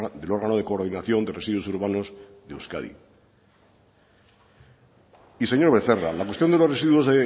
del órgano de coordinación de residuos urbanos de euskadi y señor becerra la cuestión de los residuos